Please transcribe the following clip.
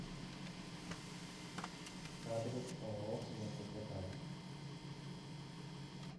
адрес ооо мясопотам